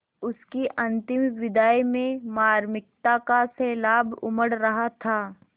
उसकी अंतिम विदाई में मार्मिकता का सैलाब उमड़ रहा था